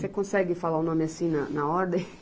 Você consegue falar o nome assim na, na ordem?